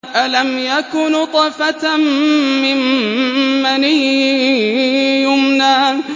أَلَمْ يَكُ نُطْفَةً مِّن مَّنِيٍّ يُمْنَىٰ